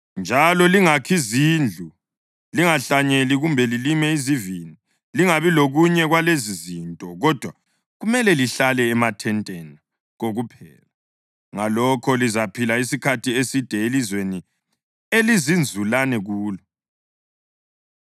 Njalo lingakhi zindlu, lingahlanyeli kumbe lilime izivini; lingabi lokunye kwalezizinto, kodwa kumele lihlale emathenteni kokuphela. Ngalokho lizaphila isikhathi eside elizweni elizinzulane kulo.’